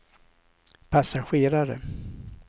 passagerare